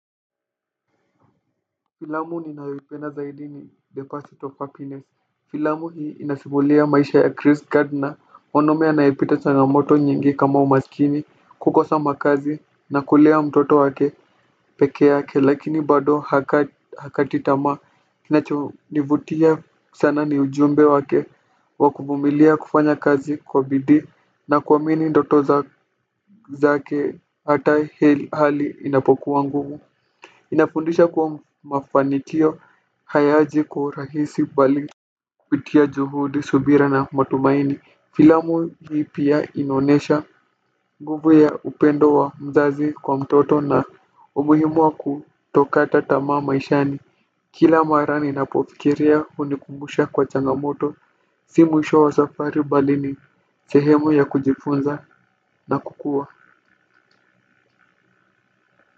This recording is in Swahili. Filamu ninayoipenda zaidi ni deposit of happiness filamu hii inasimulia maisha ya chris gardner mwanaume anayepita changamoto nyingi kama umaskini kukosa makazi na kulea mtoto wake pekee yake lakini bado hakati tamaa kinacho nivutia sana ni ujumbe wake wa kuvumilia kufanya kazi kwa bidii na kuamini ndoto zake hata ilhali inapokuwa ngumu inafundisha kuwa mafanikio hayaji kwa urahisi bali kupitia juhudi subira na matumaini filamu hii pia inaonesha nguvu ya upendo wa mzazi kwa mtoto na umuhimu wa kutokata tamaa maishani kila mara ninapofikiria hunikumbusha kwa changamoto si mwisho wa safari bali ni sehemu ya kujifunza na kukua.